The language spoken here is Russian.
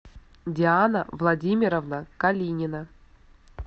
диана владимировна калинина